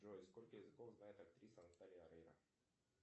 джой сколько языков знает актриса наталья орейро